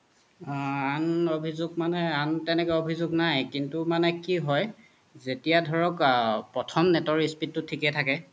আন অভিজুগ মানে আন তেনেকুৱা অভিজুগ নাই কিন্তু মানে কি হয় যেতিয়া ধৰক অ প্ৰথম net ৰ speed তু থিকে থকে